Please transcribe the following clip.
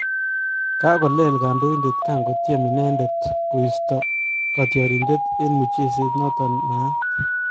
Kakolel kandoindet kangotyem inendet koista katyarindet eng mucheset notok naaat